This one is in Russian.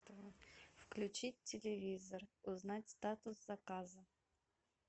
включить телевизор узнать статус заказа